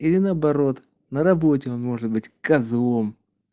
или наоборот на работе он может быть козлом